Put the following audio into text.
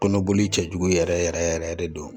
Kɔnɔboli cɛ jugu yɛrɛ yɛrɛ yɛrɛ de don